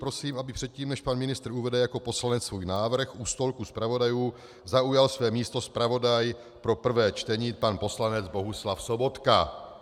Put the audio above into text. Prosím, aby předtím, než pan ministr uvede jako poslanec svůj návrh, u stolku zpravodajů zaujal své místo zpravodaj pro prvé čtení, pan poslanec Bohuslav Sobotka.